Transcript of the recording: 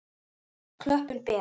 Klöppin ber.